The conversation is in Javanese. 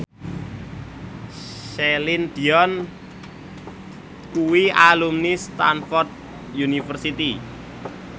Celine Dion kuwi alumni Stamford University